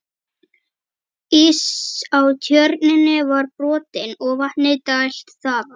Ís á Tjörninni var brotinn og vatni dælt þaðan.